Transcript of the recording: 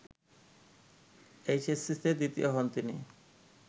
এইচএসসিতে দ্বিতীয় হন তিনি